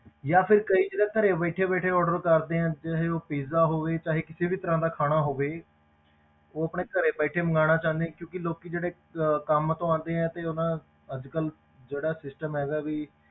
ਜਾਂ ਫਿਰ ਕਈ ਜਿਹੜੇ ਘਰੇ ਬੈਠੇ ਬੈਠੇ order ਕਰਦੇ ਆ ਚਾਹੇ ਉਹ pizza ਹੋਵੇ ਚਾਹੇ ਕਿਸੇ ਵੀ ਤਰ੍ਹਾਂ ਦਾ ਖਾਣਾ ਹੋਵੇ ਉਹ ਆਪਣੇ ਘਰੇ ਬੈਠੇ ਮੰਗਵਾਉਣਾ ਚਾਹੁੰਦੇ ਕਿਉਂਕਿ ਲੋਕੀ ਜਿਹੜੇ ਅਹ ਕੰਮ ਤੋਂ ਆਉਂਦੇ ਆ ਤੇ ਉਹਨਾਂ ਅੱਜ ਕੱਲ੍ਹ ਜਿਹੜਾ system ਹੈਗਾ ਵੀ,